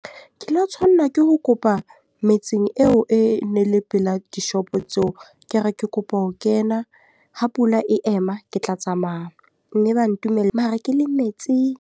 Ke la tshwanna ke ho kopa metseng eo e ne le pela dishopo tseo. Ke re, ke kopa ho kena ha pula e ema ke tla tsamaya. Mme ba ntumella, mara ke le metsi.